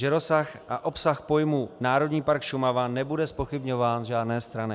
Že rozsah a obsah pojmu Národní park Šumava nebude zpochybňován z žádné strany.